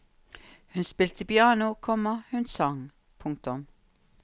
Hun spilte piano, komma hun sang. punktum